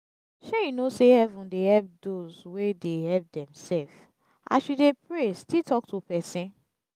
shey you no say heaven dey help doz wey dey help demself as you dey pray still talk to person